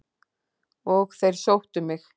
Og þeir sóttu mig.